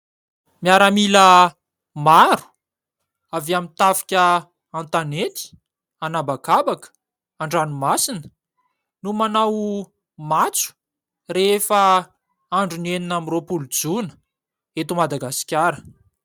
Miaramila maro avy amin'ny tafika an-tanety, an'habakabaka, an-dranomasina no manao matso rehefa andron'ny enina amby roapolo jona eto Madagasikara.